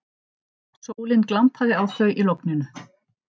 Sólin glampaði á þau í logninu.